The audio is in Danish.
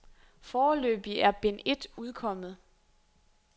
Foreløbig er bind et udkommet.